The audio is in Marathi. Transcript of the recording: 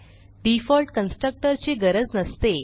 डिफॉल्ट कन्स्ट्रक्टर ची गरज नसते